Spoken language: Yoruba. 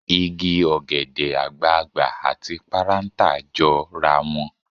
Igi ọ̀gẹ̀dẹ̀ àgbààgbà àti parántà jọra wọn.